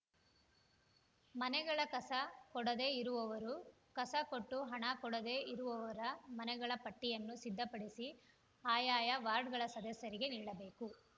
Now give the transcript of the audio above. ಮನೆಗಳ ಕಸ ಕೊಡದೆ ಇರುವವರು ಕಸ ಕೊಟ್ಟು ಹಣ ಕೊಡದೇ ಇರುವವರ ಮನೆಗಳ ಪಟ್ಟಿಯನ್ನು ಸಿದ್ಧಪಡಿಸಿ ಆಯಾಯ ವಾರ್ಡಗಳ ಸದಸ್ಯರಿಗೆ ನೀಡಬೇಕು